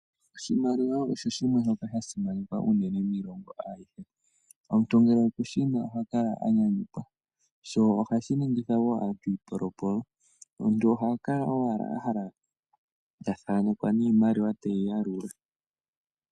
Oshimaliwa osho shimwe shoka shasimanekwa miilongo ayihe, omuntu ngele okushina ohakala anyanyukwa, sho ohashi ningitha woo natango aantu iipolopolo omuntu ohakala owala ahala ta thaanekwa niimaliwa teyi yalula.